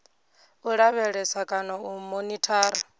u lavhelesa kana u monithara